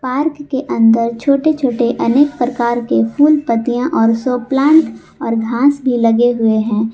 Park के अंदर छोटे छोटे अनेक प्रकार के फूल पत्तियां और शो प्लांट और घास भी लगे हुए हैं।